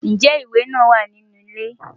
Ǹjẹ́ ìwé náà wà ní inú ilé?